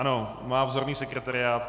Ano, má vzorný sekretariát.